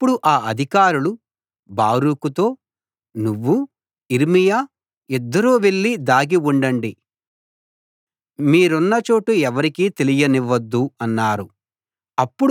అప్పుడు ఆ అధికారులు బారూకుతో నువ్వూ యిర్మీయా ఇద్దరూ వెళ్లి దాగి ఉండండి మీరున్న చోటు ఎవరికీ తెలియనివ్వొద్దు అన్నారు